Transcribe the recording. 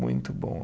Muito bom.